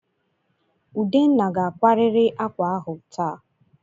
Udenna ga-akwarịrị ákwà ahụ taa!